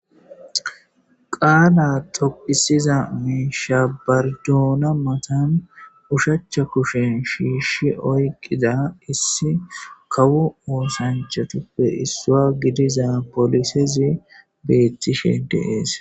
Qaala toqisiza mishsha bardoona mattan oshshach kushen Shishi oyiqqida issi kawo oththanchatuppe issuwa gidiza pollisezi bettishe de'esi.